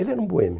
Ele era um boêmio.